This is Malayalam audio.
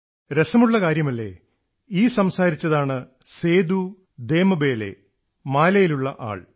രസമുള്ള കാര്യമല്ലേ ഈ സംസാരിച്ചതാണ് സേദൂ ദേംബലേ മാലിയിലുള്ള ആൾ